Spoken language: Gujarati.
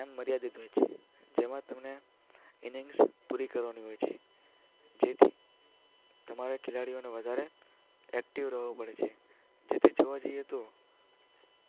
ટાઈમ મર્યાદિત હોય છે. તેમાં તેમને ઈનિંગ્સ પૂરી કરવાની હોય છે. જેથી તમારે ખેલાડીઓને વધારે એક્ટિવ રહેવું પડે છે. જેથી જોવા જઈએ તો